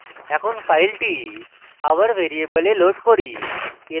এখন file আবার ভ্যারিয়েবলে load করি